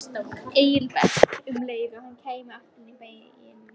Engilbert um leið og hann kæmi aftur í bæinn.